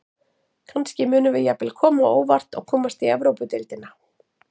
Kannski munum við jafnvel koma á óvart og komast í Evrópudeildina.